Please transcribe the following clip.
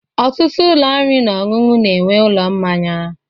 Ọtụtụ ụlọ oriri na ọṅụṅụ na-enwe ụlọ mmanya.